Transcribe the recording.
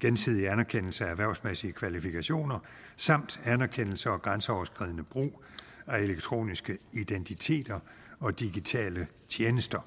gensidig anerkendelse af erhvervsmæssige kvalifikationer samt anerkendelse og grænseoverskridende brug af elektroniske identiteter og digitale tjenester